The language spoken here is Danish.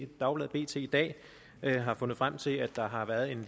dagbladet bt i dag har fundet frem til at der har været en